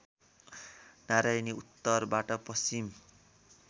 नरायणी उत्तरबाट पश्चिम